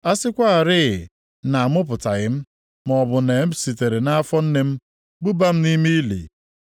A sịkwarị na amụpụtaghị m maọbụ na e sitere nʼafọ nne m buba m nʼime ili!